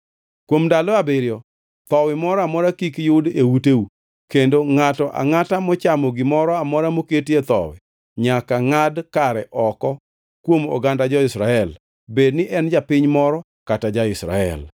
Kuom ndalo abiriyo thowi moro amora kik yud e uteu, kendo ngʼato angʼata mochamo gimoro amora moketie thowi nyaka ngʼad kare oko kuom oganda jo-Israel, bed ni en japiny moro kata ja-Israel.